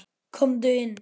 Komdu inn!